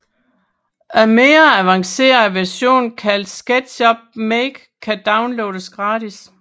En mindre avanceret version kaldet SketchUp Make kan downloades gratis